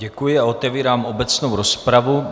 Děkuji a otevírám obecnou rozpravu.